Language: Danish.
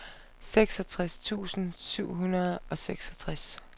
seksogtres tusind syv hundrede og seksogtres